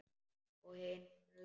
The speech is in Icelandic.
Og hinir sögðu: